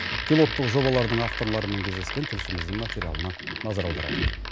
пилоттық жобалардың авторларымен кездескен тілшіміздің материалына назар аударайық